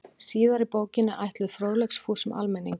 Síðari bókin er ætluð fróðleiksfúsum almenningi.